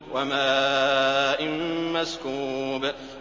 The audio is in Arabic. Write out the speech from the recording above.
وَمَاءٍ مَّسْكُوبٍ